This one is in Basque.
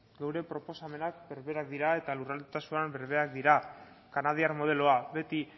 gure proposamenak berberak dira eta lurraldetasunean berberak dira kanadiar modeloa beti